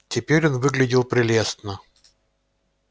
теперь он выглядел прелестно